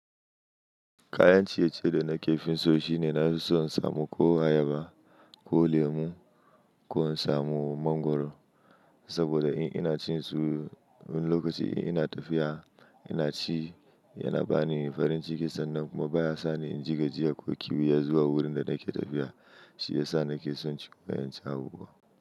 Kayan ciye-ciye da na ke finso shi ne na fi son in samun ko ayaba ko lemu ko in samu mangwaro. Saboda in ina cin su wani lokaci in ina tafiya ina ci yana bani farin ciki sannan kuma baya sa ni in jigajiya ko kyiuyan yazuwa wurin da nake tafiya shi yasa nake son ciye-ciyen sabo.